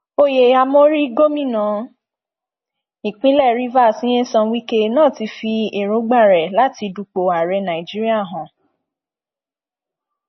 oyè àmórí gòmìnà ìpínlẹ rivers nyesome wike náà ti fi èròǹgbà rẹ láti dúpọ ààrẹ nàíjíríà hàn